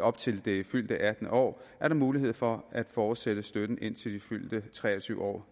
op til det fyldte attende år er der mulighed for gennem at fortsætte støtten indtil det fyldte treogtyvende år